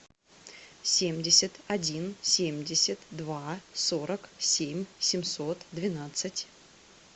семьдесят один семьдесят два сорок семь семьсот двенадцать